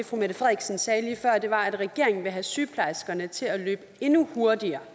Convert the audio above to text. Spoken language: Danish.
frederiksen sagde lige før var at regeringen vil have sygeplejerskerne til at løbe endnu hurtigere